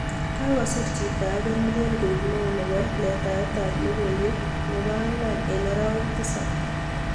Kakosir chito age nelel koek neo nepo letaet ap logoiwek nepaa angwang eng arawek tisap